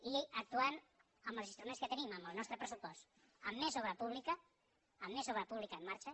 i actuant amb els instruments que tenim amb el nostre pressupost amb més obra pública amb més obra pública en marxa